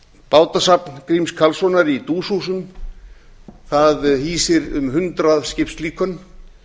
bátasafn gríms karlssonar í duushúsum það hýsir um hundrað skipslíkön